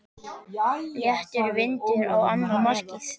Léttur vindur á annað markið.